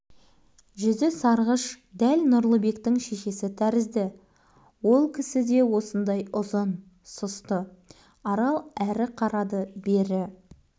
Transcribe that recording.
жүзі сарғыш дәл нұрлыбектің шешесі тәрізді ол кісі де осындай ұзын сұсты арал әрі қарады бері